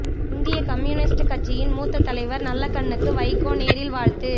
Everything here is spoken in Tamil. இந்தியக் கம்யூனிஸ்டு கட்சியின் மூத்த தலைவர் நல்லகண்ணுக்கு வைகோ நேரில் வாழ்த்து